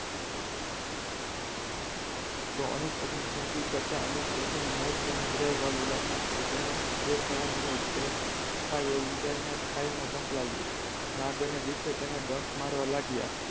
તો અનુપ વગર ની ઝીંદગી કરતા અનુપ સાથે નું મોત તેને વધારે વાહલું લાગતું હતું તેને જે થવાનું એ થાય એવું વિચારીને ખાઈ માં જંપલાવ્યું નાગ અને બીચું તેને ડંખ મારવા લાગ્યા.